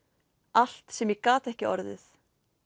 allt sem ég gat ekki orðið